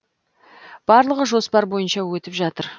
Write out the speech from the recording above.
барлығы жоспар бойынша өтіп жатыр